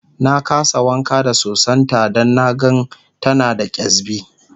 na kasa wanka da sosan ta Dan na gan ta da kyasbi